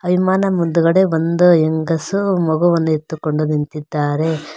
ವಿಮಾನ ಮುಂದಗಡೆ ಒಂದು ಹೆಂಗಸು ಮಗುವನ್ನು ಎತ್ತಿಕೊಂಡು ನಿಂತಿದ್ದಾರೆ.